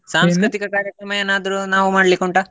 ಏನಾದ್ರೂ ನಾವ್ ಮಾಡ್ಲಿಕ್ಕೆ ಉಂಟಾ.